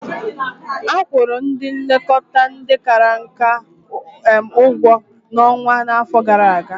Akwụrụ ndị nlekọta ndị kara nka ụgwọ ọnwa ha afọ gara aga.